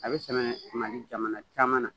A bɛ sɛnɛ Mali jamana caman na